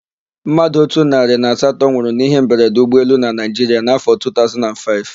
Mmadụ otu narị na asatọ nwụrụ n'íhé mberede ụgbọelu na Naịjiria n'áfọ̀ 2005.